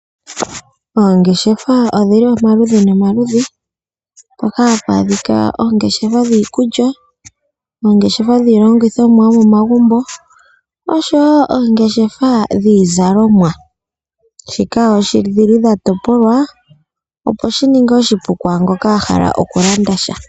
Oongeshefa odhili omaludhi nomaludhi hoka haku adhika oongeshefa dhiikulya. oongeshefa dhilongithomwa yomomagumbo noongeshefa dhiizalomwa odhili dhatopolwa opo shininge oshipu kwangoka ahala okulanda sha.